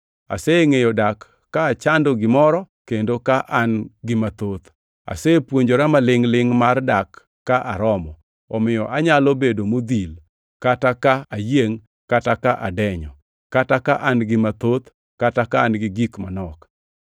Asengʼeyo dak ka achando gimoro kendo ka an-gi gik mathoth. Asepuonjora malingʼ-lingʼ mar dak ka aromo, omiyo anyalo bedo modhil kata ka ayiengʼ kata ka adenyo, kata ka an gi gik mathoth kata ka an gi gik manok.